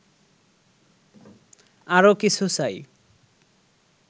আরো কিছু চাই